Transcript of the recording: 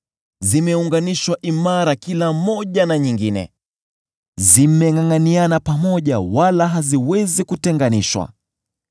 Zimeunganishwa imara kila moja na nyingine; zimengʼangʼaniana pamoja wala haziwezi kutenganishwa.